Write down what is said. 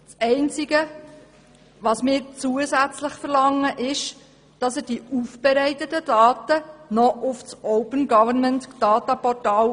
Das Einzige, was wir zusätzlich verlangen, ist das Hochladen der Daten auf das Open-Government-Data-Portal.